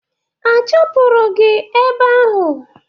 A chụpụrụ gị ebe ahụ?